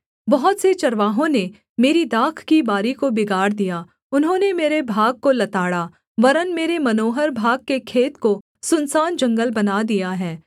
बहुत से चरवाहों ने मेरी दाख की बारी को बिगाड़ दिया उन्होंने मेरे भाग को लताड़ा वरन् मेरे मनोहर भाग के खेत को सुनसान जंगल बना दिया है